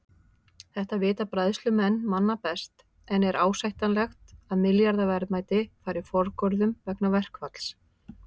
Þetta vita bræðslumenn manna best en er ásættanlegt að milljarða verðmæti fari forgörðum vegna verkfalls?